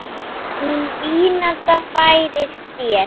Hún vínanda færir þér.